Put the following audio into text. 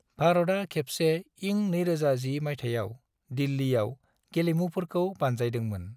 भारतआ खेबसे इं 2010 माइथायाव दिल्लियाव गेलेमुफोरखौ बानजायदोंमोन।